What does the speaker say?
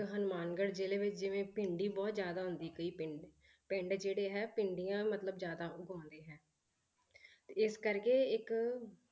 ਹਨੂਮਾਨਗੜ ਜ਼ਿਲ੍ਹੇ ਵਿੱਚ ਜਿਵੇਂ ਭਿੰਡੀ ਬਹੁਤ ਜ਼ਿਆਦਾ ਹੁੰਦੀ ਕਈ ਪਿੰਡ, ਪਿੰਡ ਜਿਹੜੇ ਹੈ ਭਿੰਡੀਆਂ ਮਤਲਬ ਜ਼ਿਆਦਾ ਉਗਾਉਂਦੇ ਹੈ ਤੇ ਇਸ ਕਰਕੇ ਇੱਕ